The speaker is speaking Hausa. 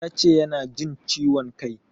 Ya ce yana jin ciwon kai.